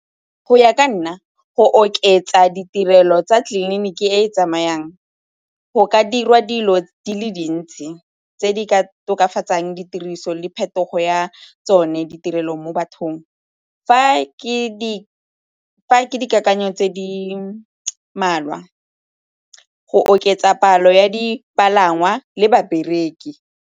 Go ya ka nna, go oketsa ditirelo tsa tleliniki e tsamayang go ka dirwa dilo di le dintsi tse di ka tokafatsang ditiriso le phetogo ya tsone ditirelo mo bathong. Fa ke dikakanyo tse di mmalwa, go oketsa palo ya dipalangwa le babereki.